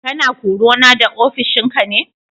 Kana korana da ofishinka ne?